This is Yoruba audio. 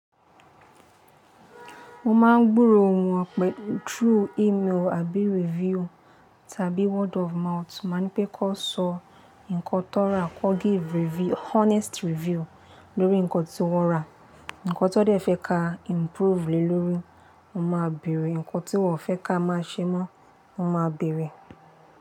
Mo máa ń gburo ohùn o pé through email abí review tàbí word of mouth. Má ní pé kọ́ sọ nǹkan tó rà, kọ́ give review, honest review lórí nǹkan tí wọ́n rà. Nǹkan tó dẹ̀ fẹ́ ka improve le lórí, mo máa bèèrè. Nǹkan tí wọ́n fẹ́ ka máa ṣe mọ́, mo máa bèèrè.